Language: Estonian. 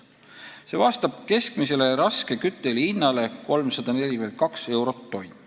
See vastab keskmisele raske kütteõli hinnale 342 eurot tonn.